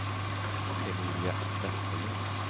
Emilia Vesterlund